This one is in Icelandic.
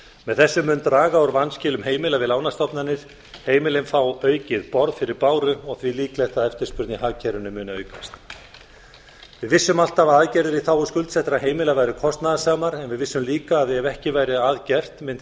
með þessu mun draga úr vanskilum heimila við lánastofnanir heimilin fá aukið borð fyrir báru og því líklegt að eftirspurn í hagkerfinu muni aukast við vissum alltaf að aðgerðir í þágu skuldsettra heimila væru kostnaðarsamar en við vissum líka að ef ekki væri að gert